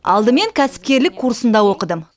алдымен кәсіпкерлік курсында оқыдым